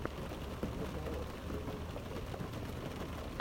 лекарок первый эпизод